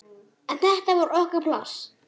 En þetta var okkar pláss.